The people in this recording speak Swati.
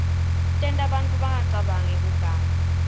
tenta bantfu bangacabangi kuganga